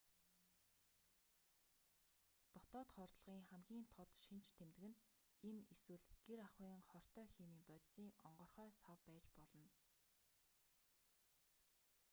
дотоод хордлогын хамгийн тод шинж тэмдэг нь эм эсвэл гэр ахуйн хортой химийн бодисын онгорхой сав байж болно